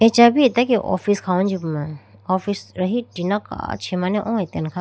aecha bhi atage office khawujipuma office rahi tina kachimane oo atene kha puma.